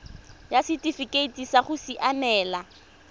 ya setifikeite sa go siamela